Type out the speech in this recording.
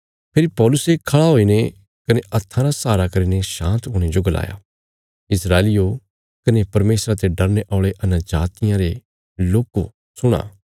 फेरी पौलुसे खड़े हुईने कने हत्था रा सहारा करीने शाँत हुणे जो गलाया इस्राएलियो कने परमेशरा ते डरने औल़े अन्यजातियां रे लोको सुणा